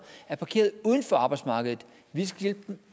er parkeret uden for arbejdsmarkedet vi skal hjælpe dem